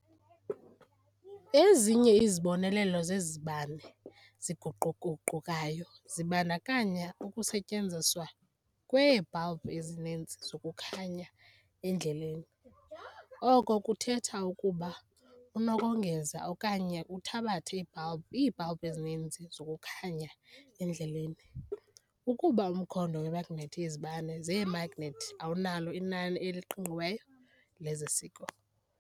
Ezinye izibonelelo zezi zibane ziguquguqukayo zibandakanya ukusetyenziswa kweebhalbhu ezininzi zokukhanya endleleni, oko kuthetha ukuba unokongeza okanye uthabathe iibhalbhu ezininzi zokukhanya endleleni, kuba umkhondo wemagnethi yezibane zemagnethi awunalo inani eliqingqiweyo leziseko.